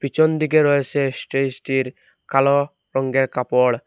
পিছন দিকে রয়েসে স্টেজটির কালো রঙ্গের কাপড়।